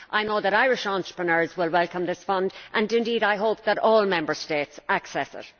I know that Irish entrepreneurs will welcome this fund, and indeed I hope that all Member States will access it.